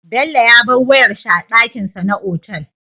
Bello ya bar wayar shi a dakin sa na otal